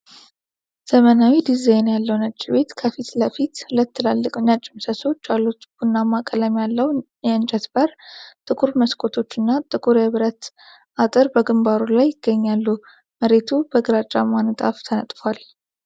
ዘመናዊ ዲዛይን ያለው ነጭ ቤት ከፊት ለፊት ሁለት ትልልቅ ነጭ ምሰሶዎች አሉት። ቡናማ ቀለም ያለው የእንጨት በር፣ ጥቁር መስኮቶች እና ጥቁር የብረት አጥር በግንባሩ ላይ ይገኛሉ። መሬቱ በግራጫማ ንጣፍ ተነጥፏል።